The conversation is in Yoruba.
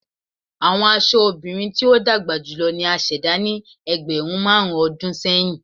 Awọn aṣọ obirin ti o dagba julọ ni a ṣẹda ni ẹgbẹrun marun ọdun sẹyin